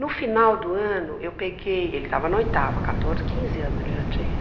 No final do ano, eu peguei, ele estava na oitava, quatorze, quinze anos ele já tinha.